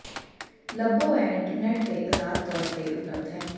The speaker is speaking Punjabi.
ਲੱਭੋ ਇਹ ਇੰਟਰਨੈਟ ਤੇ ਅਜ਼ਾਦ ਤੌਰ ਤੇ ਉਪਲਬਧ ਹੈ